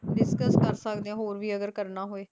discuss ਕਰ ਸਕਦੇ ਆ ਹੋਰ ਵੀ ਅਗਰ ਕਰਨਾ ਹੋਏ